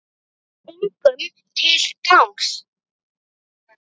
Engum til gagns.